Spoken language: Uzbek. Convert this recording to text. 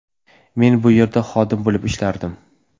Men bu yerda xodim bo‘lib ishlardim.